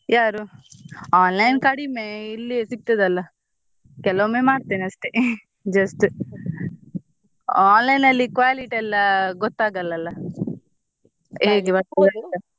ಯಾರು online ಕಡಿಮೆ ಇಲ್ಲಿ ಸಿಗ್ತದೆ ಅಲ್ಲ ಕೆಲವೊಮ್ಮೆ ಮಾಡ್ತೇನೆ ಅಷ್ಟೇ just online ಅಲ್ಲಿ quality ಎಲ್ಲ ಗೊತ್ತಾಗಲ್ಲ ಅಲ ಹೇಗೆ ಬರ್ತದೆ ಅಂತ.